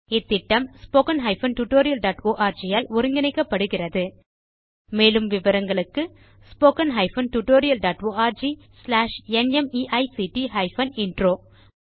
இந்த திட்டம் httpspoken tutorialorg ஆல் ஒருங்கிணைக்கப்படுகிறது மேலும் விவரங்களுக்கு spoken hyphen tutorial dot org slash NMEICT hyphen intro